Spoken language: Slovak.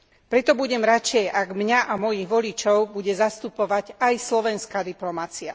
Preto budem radšej, ak mňa a mojich voličov bude zastupovať aj slovenská diplomacia.